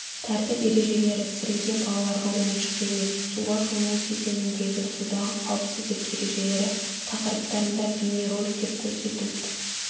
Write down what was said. тәртіп ережелері сіріңке балаларға ойыншық емес суға шомылу кезеңіндегі судағы қауіпсіздік ережелері тақырыптарында бейнероликтер корсетілд